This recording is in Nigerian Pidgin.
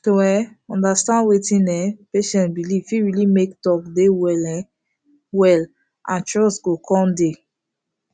to um understand wetin um patient believe fit really make talk dey well um wel and trust go coun dey